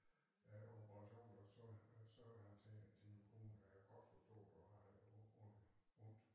Da operationen var slut sagde han til til min kone jeg kan godt forstå du har ondt ondt